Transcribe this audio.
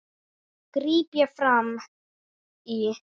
gríp ég fram í.